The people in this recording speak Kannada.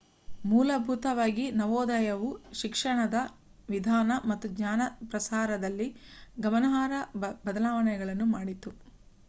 ಮೂಲಭೂತವಾಗಿ ನವೋದಯವು ಶಿಕ್ಷಣದ ವಿಧಾನ ಮತ್ತು ಜ್ಞಾನ ಪ್ರಸಾರದಲ್ಲಿ ಗಮನಾರ್ಹ ಬದಲಾವಣೆಯನ್ನು ಮಾಡಿತು